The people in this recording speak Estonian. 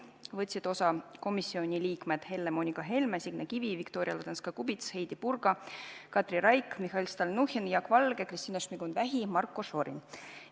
Võtsid osa komisjoni liikmed Helle-Moonika Helme, Signe Kivi, Viktoria Ladõnskaja-Kubits, Heidy Purga, Katri Raik, Mihhail Stalnuhhin, Jaak Valge, Kristina Šmigun-Vähi ja Marko Šorin.